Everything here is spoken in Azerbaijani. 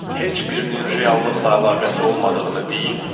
Heç birinin reallıqla əlaqəsi olmadığını deyib.